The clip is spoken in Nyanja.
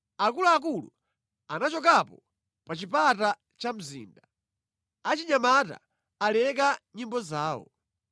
Akuluakulu anachokapo pa chipata cha mzinda; achinyamata aleka nyimbo zawo.